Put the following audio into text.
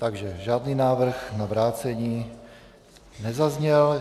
Takže žádný návrh na vrácení nezazněl.